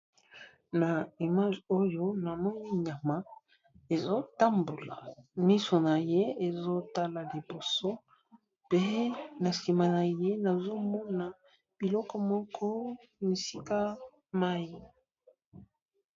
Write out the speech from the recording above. Na image oyo na moni nyama ezo tambola miso na ye ezotala liboso pe na sima na ye nazomona biloko moko misika mayi.